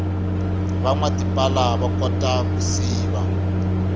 vanwa tipala vakota ku siva